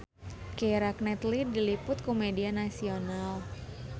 Keira Knightley diliput ku media nasional